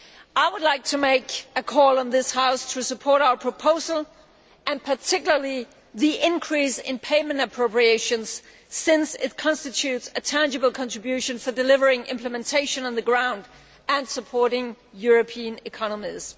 I would like to make a call on this House to support our proposal and particularly the increase in payment appropriations, since it constitutes a tangible contribution to delivering implementation on the ground and to supporting European economies.